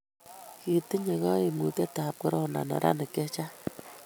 kitiny kaimutietab korona neranik che chang'